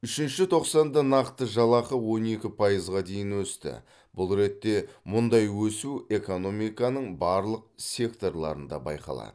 үшінші тоқсанда нақты жалақы он екі пайызға дейін өсті бұл ретте мұндай өсу экономиканың барлық секторларында байқалады